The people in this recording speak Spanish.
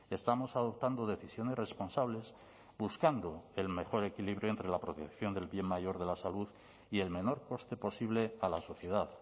estamos adoptando decisiones responsables buscando el mejor equilibrio entre la protección del bien mayor de la salud y el menor coste posible a la sociedad